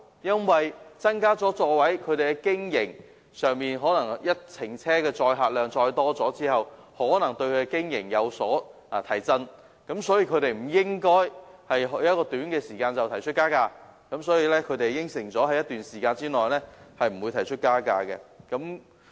在增加座位後，每程車的載客量增加後，可能對小巴的經營有所提振，所以小巴承辦商不應在短期內提出加價，而他們已承諾在一段時間內不會提出加價。